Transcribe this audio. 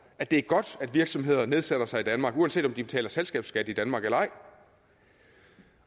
at det er godt at virksomheder nedsætter sig i danmark uanset om de betaler selskabsskat i danmark eller ej